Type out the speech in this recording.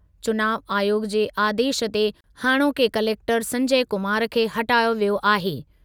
चुनाव आयोग जे आदेशु ते हाणोके कलेक्टरु संजय कुमार खे हटायो वियो आहे।